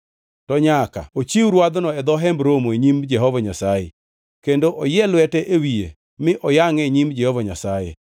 To nyaka ochiw rwadhno e dho Hemb Romo e nyim Jehova Nyasaye. Kendo oyie lwete e wiye mi oyangʼe e nyim Jehova Nyasaye.